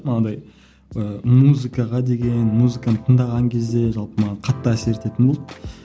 анадай ыыы музыкаға деген музыканы тыңдаған кезде жалпы маған қатты әсер ететін болды